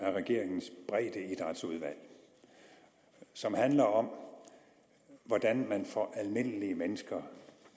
af regeringens breddeidrætsudvalg som handler om hvordan man får almindelige mennesker